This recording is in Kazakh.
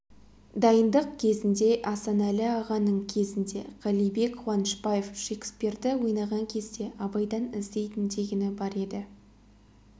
дайындық кезінде асанәлі ағаның кезінде қалибек қуанышбаев шекспирді ойнаған кезде абайдан іздейтін дегені бар еді